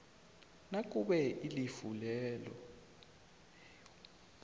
nakube ilifu leyo